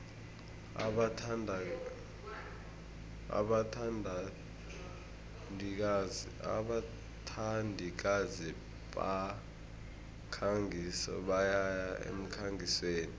abathandikazi bemikhangiso bayaya emkhangisweni